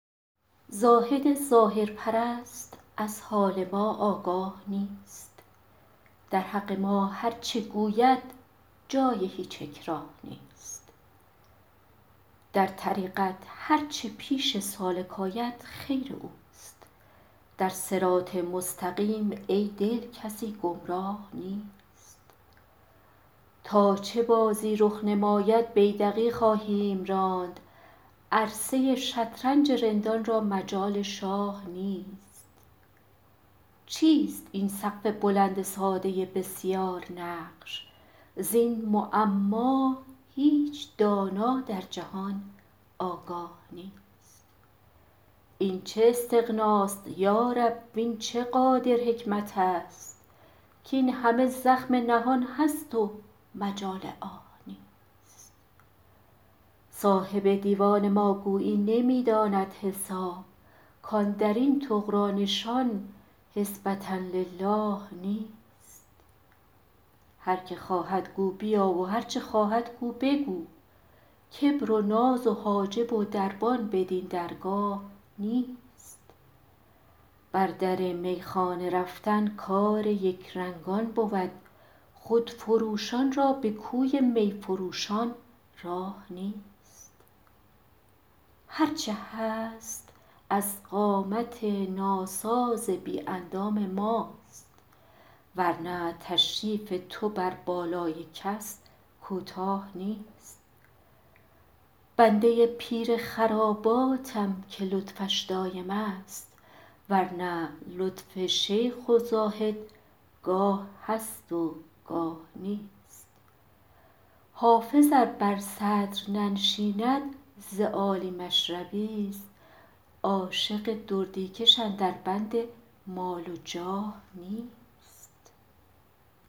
زاهد ظاهرپرست از حال ما آگاه نیست در حق ما هرچه گوید جای هیچ اکراه نیست در طریقت هرچه پیش سالک آید خیر اوست در صراط مستقیم ای دل کسی گمراه نیست تا چه بازی رخ نماید بیدقی خواهیم راند عرصه ی شطرنج رندان را مجال شاه نیست چیست این سقف بلند ساده بسیارنقش زین معما هیچ دانا در جهان آگاه نیست این چه استغناست یا رب وین چه قادر حکمت است کاین همه زخم نهان است و مجال آه نیست صاحب دیوان ما گویی نمی داند حساب کاندر این طغرا نشان حسبة للٰه نیست هر که خواهد گو بیا و هرچه خواهد گو بگو کبر و ناز و حاجب و دربان بدین درگاه نیست بر در میخانه رفتن کار یکرنگان بود خودفروشان را به کوی می فروشان راه نیست هرچه هست از قامت ناساز بی اندام ماست ور نه تشریف تو بر بالای کس کوتاه نیست بنده ی پیر خراباتم که لطفش دایم است ور نه لطف شیخ و زاهد گاه هست و گاه نیست حافظ ار بر صدر ننشیند ز عالی مشربی ست عاشق دردی کش اندر بند مال و جاه نیست